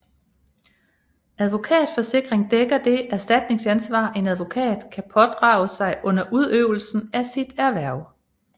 Advokatforsikring dækker det erstatningsansvar en advokat kan pådrage sig under udøvelse af sit erhverv